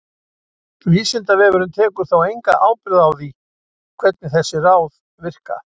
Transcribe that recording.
Vísindavefurinn tekur þó enga ábyrgð á því hvernig þessi ráð virka.